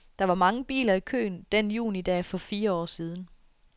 Der var mange biler i køen den junidag for fire år siden.